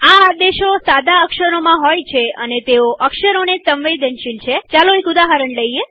આદેશો સાદા અક્ષરોકેપિટલ નહીંમાં હોય અને તેઓ અક્ષર પ્રકારસાદા કે કેપિટલને સંવેદનશીલ છેચાલો એક ઉદાહરણ જોઈએ